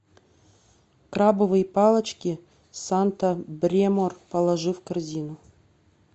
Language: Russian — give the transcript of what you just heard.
крабовые палочки санта бремор положи в корзину